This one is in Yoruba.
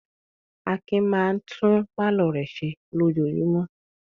Akin máa tún pálọ̀ rẹ̀ ṣe lójoojúmọ́.